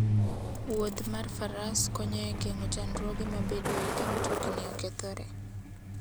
Wuodh mar faras konyo e geng'o chandruoge mabedoe ka mtokni okethore.